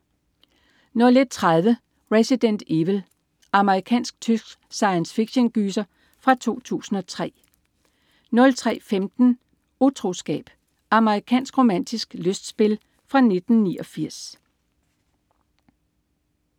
01.30 Resident Evil. Amerikansk-tysk science fiction-gyser fra 2002 03.15 Utroskab. Amerikansk romantisk lystspil fra 1989